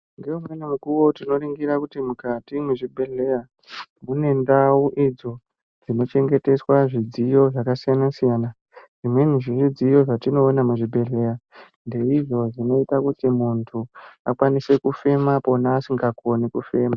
Tinoningira mukati mezvibhehleya mune ndau idzo dzinochengeteswa zvidziyo zvakasiyana siyana zvimweni zvidziyo zvatinoona muzvibhehleya ndeidzo dzinoita kuti muntu akwanise kufema pona asingakoni kufema.